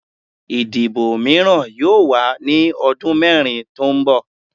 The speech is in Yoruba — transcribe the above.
Idibo miiran yoo wa ni ọdun mẹrin to nbọ